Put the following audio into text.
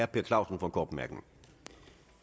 per clausen